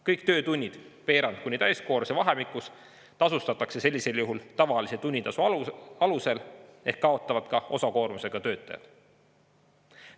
Kõik töötunnid veerand kuni täiskoormuse vahemikus tasustatakse sellisel juhul tavalise tunnitasu alusel ehk kaotavad ka osakoormusega töötajad.